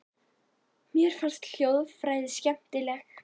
Mér finnst hljóðfræði skemmtileg.